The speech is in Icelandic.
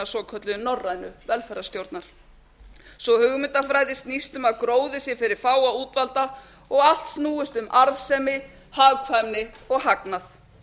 svokölluðu norrænu velferðarstjórnar sú hugmyndafræði snýst um að gróði sé fyrir fáa útvalda og allt snúist um arðsemi hagkvæmnin og hagnað